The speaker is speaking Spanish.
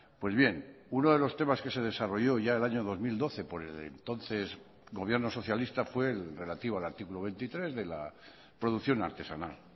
pues bien uno de los temas que se desarrolló ya el año dos mil doce por el entonces gobierno socialista fue el relativo al artículo veintitrés de la producción artesanal